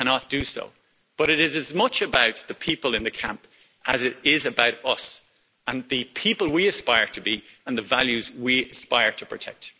I cannot do so, but it is as much about the people in the camp as it is about us and the people we aspire to be, and the values we aspire to protect.